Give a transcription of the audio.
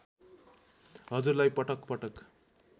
हजुरलाई पटक पटक